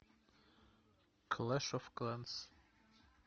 клэш оф кланс